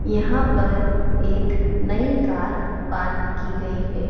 यहां पर एक नई कार पार्क की गई है।